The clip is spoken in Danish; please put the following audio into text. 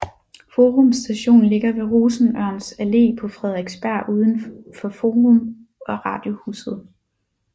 Forum Station ligger ved Rosenørns Allé på Frederiksberg ud for Forum og Radiohuset